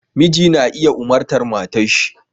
Miji na iya umartar matarshi